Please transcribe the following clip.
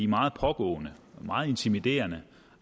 meget pågående og meget intimiderende